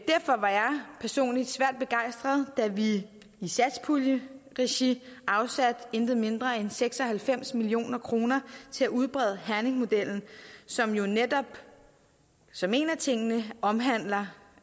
personligt svært begejstret da vi i satspuljeregi afsatte ikke mindre end seks og halvfems million kroner til at udbrede herningmodellen som jo netop som en af tingene omhandler